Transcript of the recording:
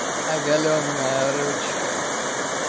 оголённая ручка